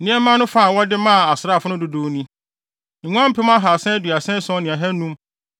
Nneɛma no fa a wɔde maa asraafo no dodow ni: Nguan mpem ahaasa aduasa ason ne ahannum (337,500)